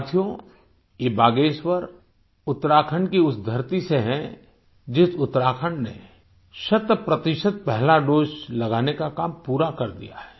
साथियो ये बागेश्वर उत्तराखंड की उस धरती से है जिस उत्तराखंड ने शतप्रतिशत पहला दोसे लगाने का काम पूरा कर दिया है